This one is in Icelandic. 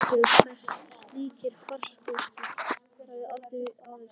Reykjavík, þar sem slíkir farkostir höfðu aldrei áður sést.